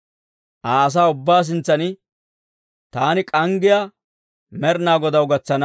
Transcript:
Aa asaa ubbaa sintsan taani k'anggiyaa Med'inaa Godaw gatsana.